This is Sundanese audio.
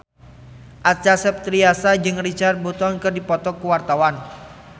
Acha Septriasa jeung Richard Burton keur dipoto ku wartawan